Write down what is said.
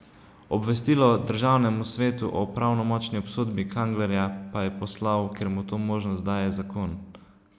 Obvestilo državnemu svetu o pravnomočni obsodbi Kanglerja pa je poslal, ker mu to možnost daje zakon.